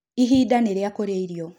Ihinda nĩ rĩa kũrĩa irĩo